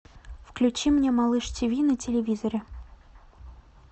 включи мне малыш ти ви на телевизоре